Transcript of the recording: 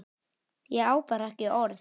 Ég bara á ekki orð.